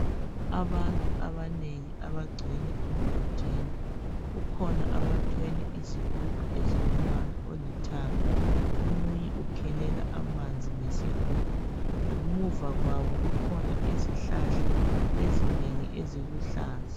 Abantu abanengi abagcwele emgodini, kukhona abanengi abathwele izigubhu ezilombala ezilithanga. Omunye ukhelela amanzi ngesigubhu ezimpompini. Ngemuva kwabo kugcwele izihlahla ezinengi eziluhlaza.